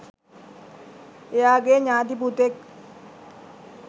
එයාගෙ ඥාති පුතෙක්